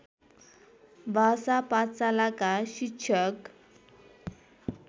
भाषा पाठशालाका शिक्षक